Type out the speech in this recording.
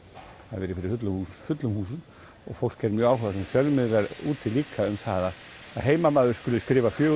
hafa verið fyrir fullum fullum húsum og fólk er mjög áhugasamt og fjölmiðlar úti líka um það að heimamaður skuli skrifa fjögur